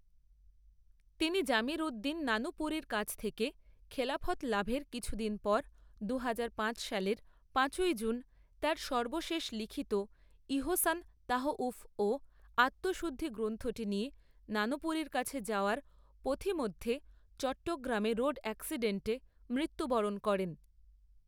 তিনি জমিরুদ্দিন নানুপুরির কাছ থেকে খেলাফত লাভের কিছুদিন পর দুহাজার পাঁচ সালের পাঁচই জুন তার সর্বশেষ লিখিত ইহসান তাওউফ ও আত্মশুদ্ধি গ্রন্থটি নিয়ে নানুপুরির কাছে যাওয়ার পথিমধ্যে চট্রগ্রামে রোড এক্সিডেন্টে মৃত্যুবরণ করেন।